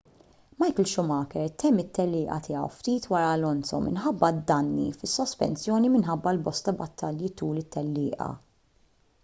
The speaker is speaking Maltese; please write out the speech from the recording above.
michael schumacher temm it-tellieqa tiegħu ftit wara alonso minħabba danni fis-sospensjoni minħabba l-bosta battalji tul it-tellieqa